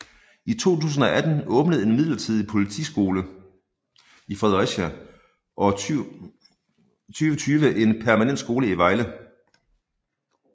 I 2018 åbnede en midlertidig politisiole i Fredericia og i 2020 en permanent skole i Vejle